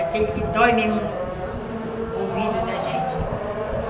Aquele que dói mesmo no no ouvido da gente.